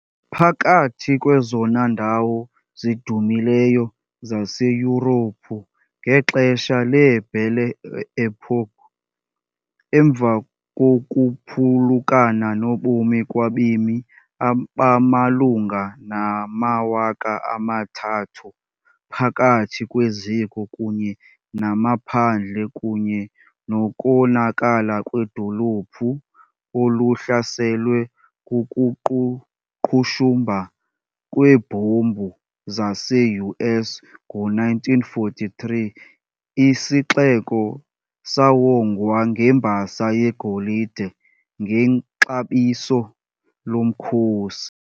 Phakathi kwezona ndawo zidumileyo zaseYurophu ngexesha le-Belle Époque, emva kokuphulukana nobomi kwabemi abamalunga namawaka amathathu phakathi kweziko kunye namaphandle kunye nokonakala kwedolophu okuhlaselwe kukuqhushumba kweebhombu zase-US ngo - 1943, isixeko sawongwa ngembasa yegolide ngexabiso lomkhosi.